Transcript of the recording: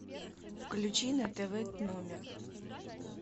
включи на тв т номер